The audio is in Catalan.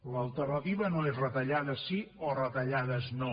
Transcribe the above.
l’alternativa no és retallades sí o retallades no